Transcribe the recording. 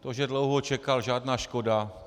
To, že dlouho čekal, žádná škoda.